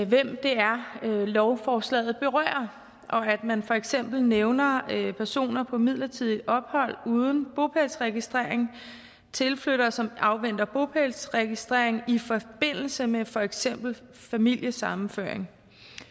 hvem det er lovforslaget berører og at man for eksempel nævner personer på midlertidigt ophold uden bopælsregistrering tilflyttere som afventer bopælsregistrering i forbindelse med for eksempel familiesammenføring